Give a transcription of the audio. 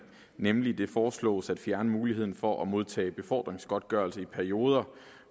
nemlig foreslås at fjerne muligheden for at modtage befordringsgodtgørelse i perioder